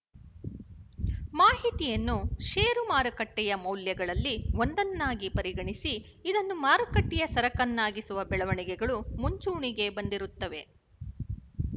ಮಾಹಿತಿಯನ್ನು ಶೇರು ಮಾರುಕಟ್ಟೆಯ ಮೌಲ್ಯಗಳಲ್ಲಿ ಒಂದನ್ನಾಗಿ ಪರಿಗಣಿಸಿ ಇದನ್ನು ಮಾರುಕಟ್ಟೆಯ ಸರಕನ್ನಾಗಿಸುವ ಬೆಳವಣಿಗೆಗಳು ಮುಂಚೂಣಿಗೆ ಬಂದಿರುತ್ತವೆ